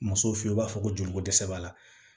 Muso fe yen u b'a fɔ ko joliko dɛsɛ b'a la